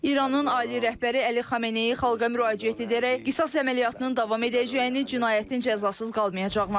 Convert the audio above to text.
İranın Ayətullah rəhbəri Əli Xameneyi xalqa müraciət edərək qisas əməliyyatının davam edəcəyini, cinayətin cəzasız qalmayacağını açıqlayıb.